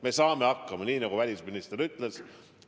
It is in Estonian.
Me saame hakkama, nii nagu ka välisminister ütles.